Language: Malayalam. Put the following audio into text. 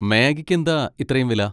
മാഗിക്ക് എന്താ ഇത്രേം വില?